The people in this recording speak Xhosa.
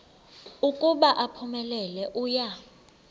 ukuba uphumelele uya